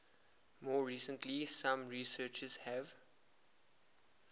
more recently some researchers have